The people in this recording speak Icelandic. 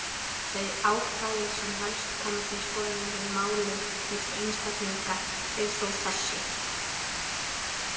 Þau ákvæði sem helst koma til skoðunar í málum milli einstaklinga eru þó þessi: